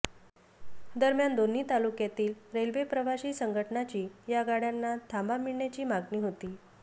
दरम्यान दोन्ही तालुक्यातील रेल्वे प्रवाशी संघटनाची या गाड्याना थांबा मिळण्याची मागणी होती